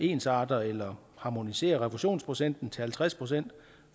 ensarter eller harmoniserer refusionsprocenten til halvtreds procent